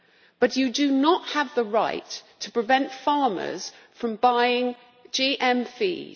But they do not have the right to prevent farmers from buying GM feed.